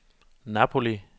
Napoli